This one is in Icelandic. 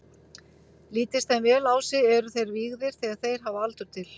Lítist þeim vel á sig, eru þeir vígðir þegar þeir hafa aldur til.